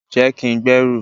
je kin gberu